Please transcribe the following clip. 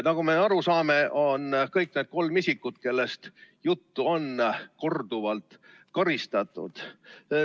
Nagu me aru saame, on kõik need kolm isikut, kellest juttu on, korduvalt karistatud.